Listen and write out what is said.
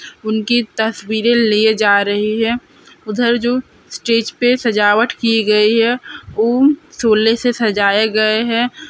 उनकी तस्वीरें लिए जा रही है उधर जो स्टेज पे सजावत की गयी है उ से सजाए गए हैं ।